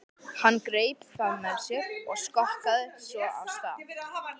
Hann greip það með sér og skokkaði svo af stað.